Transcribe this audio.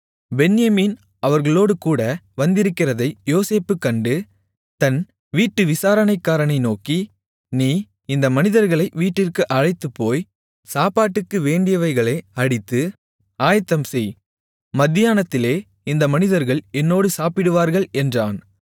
பென்யமீன் அவர்களோடுகூட வந்திருக்கிறதை யோசேப்பு கண்டு தன் வீட்டு விசாரணைக்காரனை நோக்கி நீ இந்த மனிதர்களை வீட்டிற்கு அழைத்துப்போய் சாப்பாட்டுக்கு வேண்டியவைகளை அடித்து ஆயத்தம்செய் மத்தியானத்திலே இந்த மனிதர்கள் என்னோடு சாப்பிடுவார்கள் என்றான்